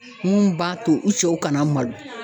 Mun b'a to u cɛw kana malo.